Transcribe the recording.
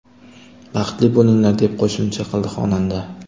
Baxtli bo‘linglar!”, deb qo‘shimcha qildi xonanda.